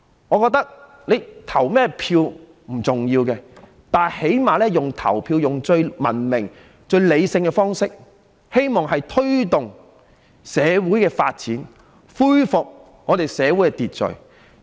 我覺得投任何人也不重要，但最低限度用投票這種最文明、理性的方式，希望推動社會發展，恢復社會秩序。